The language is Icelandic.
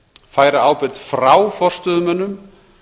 færa ábyrgð frá forstöðumönnum